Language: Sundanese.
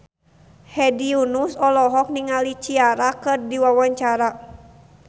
Hedi Yunus olohok ningali Ciara keur diwawancara